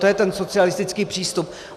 To je ten socialistický přístup.